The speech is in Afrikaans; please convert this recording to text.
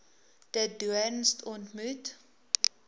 de doorns ontmoet